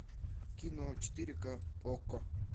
кино четыре к окко